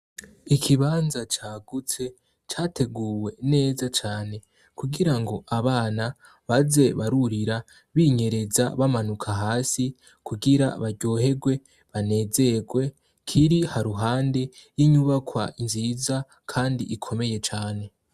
Ikibanza cagutse categuwe neza cane kugirango abana baze barurira, binyereza bamanuka hasi kugira baryoherwe, banezerwe kiri haruhande y'inyubakwa nziza kandi ikomeye cane.